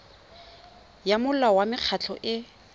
ya molao wa mekgatlho e